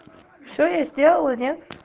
всё я сделала нет